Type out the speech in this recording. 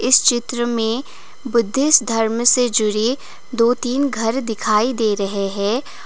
इस चित्र में बुद्धिस्ट धर्म से जुड़ी दो तीन घर दिखाई दे रहे हैं।